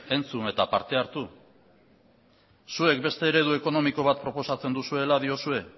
entzun eta parte hartu zuek beste eredu ekonomiko bat proposatzen duzuela diozue